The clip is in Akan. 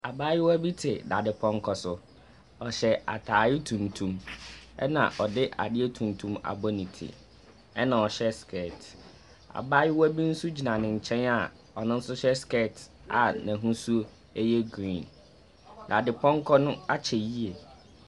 Abaayewa bi te dade pɔnkɔ so. Ɔhyɛ ataare tuntum ɛna ɔde adeɛ tuntum bɔ ne ti ɛna ɔhyɛ sikɛɛt. Abaayewa nso bi gyina n'enkyɛn a ɔnonso hyɛ sikɛɛt a n'ahusuo ɛyɛ griin. Dade pɔnkɔ no akyɛ yie.